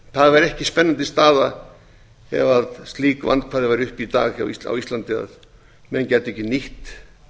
væri ekki spennandi staða ef slík vandkvæði væru uppi í dag á íslandi að menn gætu ekki nýtt